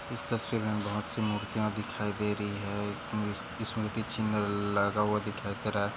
इस तस्वीर में हमे बहुतसी मुर्तीया दिखाई दे रही है स्मृती चिन्ह लगा हुआ दिखाई दे रहा है।